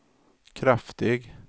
kraftig